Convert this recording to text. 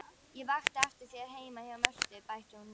Ég vakti eftir þér heima hjá Mörtu, bætti hún við.